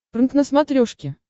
прнк на смотрешке